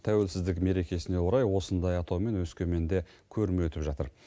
тәуелсіздік мерекесіне орай осындай атаумен өскеменде көрме өтіп жатыр